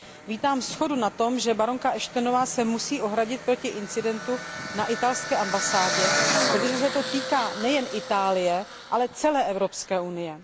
Vítám shodu na tom, že baronka Ashtonová se musí ohradit proti incidentu na italské ambasádě, protože se to týká nejen Itálie, ale celé Evropské unie.